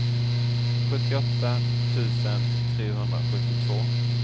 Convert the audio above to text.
sjuttioåtta tusen trehundrasjuttiotvå